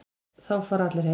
Þá fara allir heim.